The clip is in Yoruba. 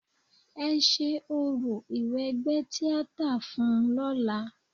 Ẹ ṣe orò ìwẹgbẹ́ tíátà fun ún lọ́la.